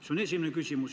See on esimene küsimus.